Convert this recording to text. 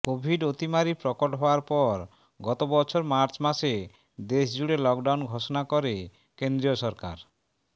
Covid অতিমারী প্রকট হওয়ার পর গত বছর মার্চ মাসে দেশজুড়ে লকডাউন ঘোষণা করে কেন্দ্রীয় সরকার